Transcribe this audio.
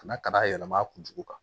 Ka na ka n'a yɛlɛma a kunjugu kan